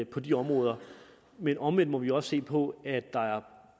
på de områder men omvendt må vi også se på at der er